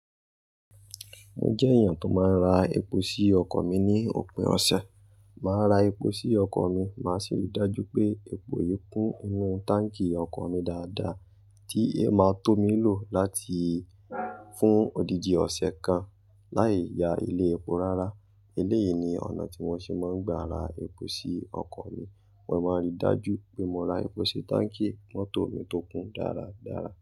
Mo jẹ́ èèyàn tó máa ń ra epo sí ọkọ̀ mi ní òpin ọ̀sẹ̀. Máa ra epo sí ọkọ̀ mi, màá sì ri dájú pé epo yìí kún inú táǹkì ọkọ̀ mi dáadáa tí yio máa tó mi lò láti fún odidi ọ̀sẹ̀ kan láì ya ilé epo rárá. Eléyìí ni ọ̀nà tí mo ṣe máa ń gba ra epo sí ọkọ̀ mi. Mo máa ń ri dájú pé mo ra epo sí táǹkì mọ́tò mi tó kún dára dára.